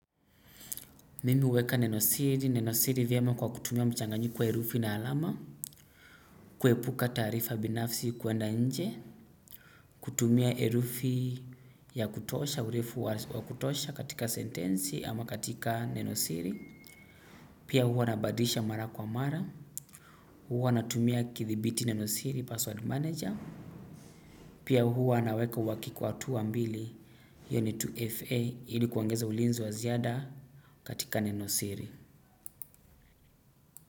Mimi huweka Nenosiri, Nenosiri vyema kwa kutumia mchanganyiko wa herufi na alama. Kuepuka taarifa binafsi kwenda nje. Kutumia herufi ya kutosha, urefu wa kutosha katika sentensi ama katika Nenosiri. Pia huwa nabadilisha mara kwa mara. Huwa natumia kithibiti nenosiri password manager. Pia huwa anaweka uhakiki wa hatua mbili. Yani 2FA ili kuongeza ulinzi wa ziada katika nenosiri.